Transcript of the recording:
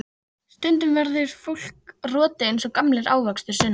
Stundum verður fólk rotið eins og gamlir ávextir, Sunna.